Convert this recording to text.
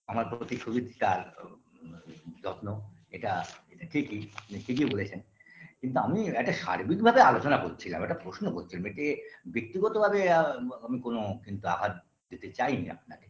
আমার প্রতি সুচিত্রা যত্ন এটা ঠিকই মানে ঠিকই বলেছেন কিন্তু আমি একটা সার্বিকভাবে আলোচনা করছিলাম একটা প্রশ্ন করছিলাম এতে ব্যক্তিগতভাবে অ্যা আমি কোন কিন্তু আঘাত দিতে চাইনি আপনাকে